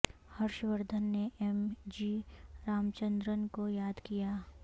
ہرش وردھن نے M G Ramachandran کو یاد کیا